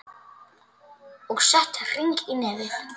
Og sett hring í nefið.